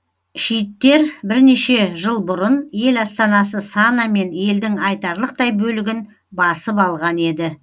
шииттер бірнеше жыл бұрын ел астанасы сана мен елдің айтарлықтай бөлігін басып алған еді